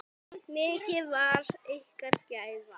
Mikil var ykkar gæfa.